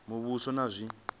muvhuso na zwi si zwa